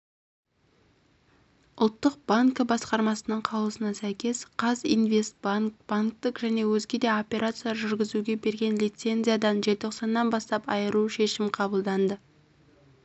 ұлттық банкі басқармасының қаулысына сәйкес казинвестбанк банктік және өзге де операциялар жүргізуге берген лицензиядан желтоқсаннан бастап айыру шешім қабылданды